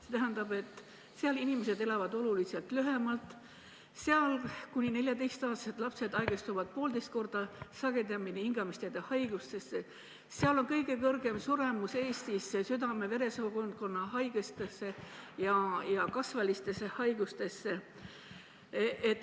See tähendab seda, et seal elavad inimesed oluliselt lühemalt, seal haigestuvad kuni 14-aastased lapsed poolteist korda sagedamini hingamisteede haigustesse, seal on Eestis kõige suurem suremus südame ja veresoonkonna haigustesse ja kasvajalistesse haigustesse.